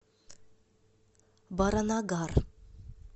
баранагар